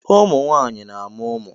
ụmụ nwanyị na-amụ ụmụ